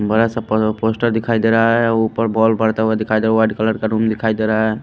बड़ा सा पोस्टर प दिखाई दे रहा है ऊपर बॉल बढ़ता हुआ दिखाई दे रहा वाइट कलर का रूम दिखाई दे रहा है।